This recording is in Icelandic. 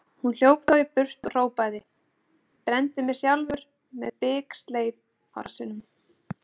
Hún hljóp þá í burt og hrópaði: Brenndi mig Sjálfur með biksleif á rassinum